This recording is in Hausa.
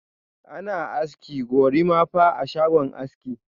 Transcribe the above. Ana aski "gorimapa" a shago aski.